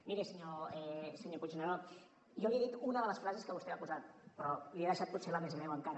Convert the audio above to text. miri senyor puigneró jo li he dit una de les frases que vostè va posar però li he deixat potser la més greu encara